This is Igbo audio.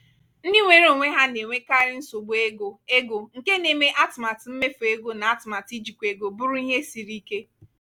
ndị nweere onwe ha na-enwekarị nsogbu ego ego nke na-eme atụmatụ mmefu ego na atụmatụ ijikwa ego bụrụ ihe siri ike.